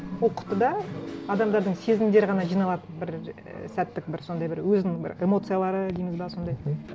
ол құтыда адамдардың сезімдері ғана жиналады бір ііі сәттік бір сондай бір өзінің бір эмоциялары дейміз бе сондай мхм